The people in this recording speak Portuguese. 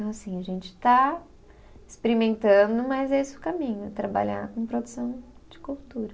Então, assim, a gente está experimentando, mas é esse o caminho, é trabalhar com produção de cultura.